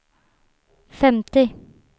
femtio